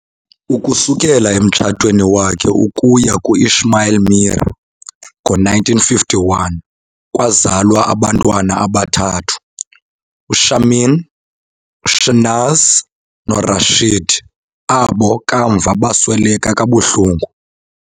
Ukusukela emtshatweni wakhe ukuya ku-Ismail Meer ngo-1951 kwazalwa abantwana abathathu, uShamin, uShehnaz noRashid, abo kamva basweleka kabuhlungu.